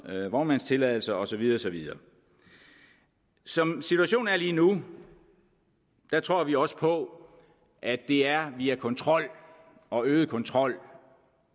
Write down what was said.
med vognmandstilladelser og så videre og så videre som situationen er lige nu tror vi også på at det er via kontrol og øget kontrol